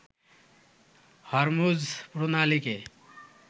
Hormuz প্রণালীকে